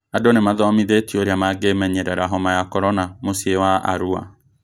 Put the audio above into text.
Andũ nĩmathomithĩtio ũrĩa mangĩmenyerera homa ya korona mũcĩĩ wa Arua